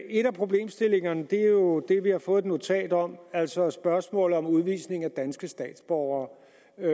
en af problemstillingerne er jo det vi har fået et notat om altså spørgsmålet om udvisning af danske statsborgere